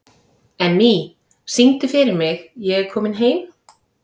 Emmý, syngdu fyrir mig „Ég er kominn heim“.